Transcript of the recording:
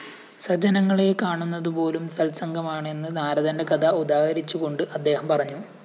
സജ്ജനങ്ങളെ കാണുന്നതുപോലും സത്സംഗമാണെന്ന് നാരദന്റെ കഥ ഉദാഹരിച്ചുകൊണ്ട് അദ്ദേഹം പറഞ്ഞു